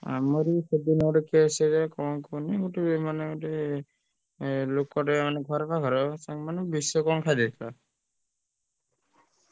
ଆମର ବି ପହରଦିନ ଗୋଟେ case କଣ କୁହନି ମାନେ ଗୋତେ ଲୋକ ଘର ପାଖ ରେ ସିଏ ମାନେ ବିଷ କଣ ଖାଇଦେଇଥିଲା